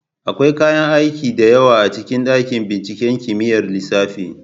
Akwai kayan aiki da yawa a cikin dakin binciken kimiyyar lissafi.